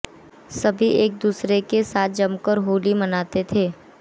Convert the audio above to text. सभी एक दूसरे के साथ जमकर होली मनाते थे